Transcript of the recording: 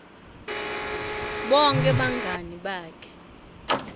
bonkhe bangani bakhe